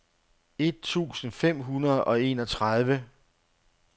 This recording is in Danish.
et tusind fem hundrede og enogtredive